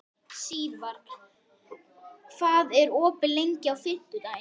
Sívar, hvað er opið lengi á fimmtudaginn?